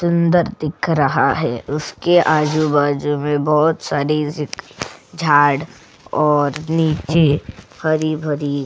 सुंदर दिख रहा है उसके आजू-बाजू में बहोत सारी झाड़ और नीचे हरी-भरी।